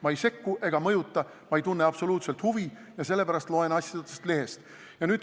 Ma ei sekku ega mõjuta, ma ei tunne absoluutselt huvi ja sellepärast loen asjadest lehest.